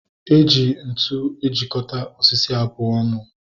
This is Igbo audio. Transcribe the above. Eji ntụ ejikota osisi abụọ ọnụ